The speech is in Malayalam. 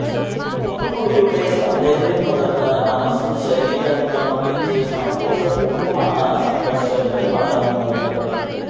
പൊന്മുടിയുടെ സൌന്ദര്യം നുകര്ന്ന് മനസും ശരീരവും തണുപ്പിച്ചു സന്തോഷപൂര്വമാണ് സന്ദര്ശകര് മടങ്ങുന്നത്